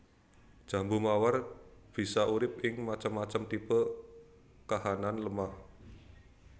Jambu mawar bisa urip ing macem macem tipe kahanan lemah